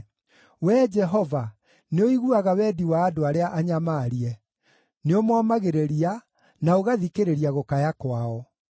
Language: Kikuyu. Wee Jehova, nĩũiguaga wendi wa andũ arĩa anyamaarie; nĩũmomagĩrĩria, na ũgathikĩrĩria gũkaya kwao,